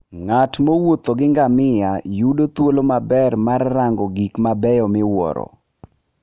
Ng'at mowuotho gi ngamia yudo thuolo maber mar rango gik mabeyo miwuoro.